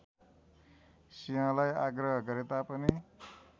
सिंहलाई आग्रह गरेतापनि